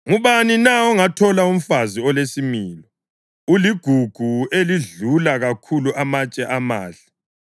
Ngubani na ongathola umfazi olesimilo? Uligugu elidlula kakhulu amatshe amahle.